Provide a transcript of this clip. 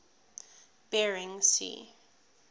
bering sea